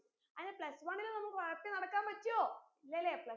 അങ്ങനെ plus one ൽ നമ്മക് ഉഴപ്പി നടക്കാൻ പറ്റുഓ ഇല്ലലെ plus one